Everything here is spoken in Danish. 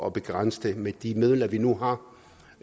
at begrænse det med de midler vi nu